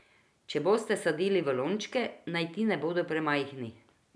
Če boste sadili v lončke, naj ti ne bodo premajhni.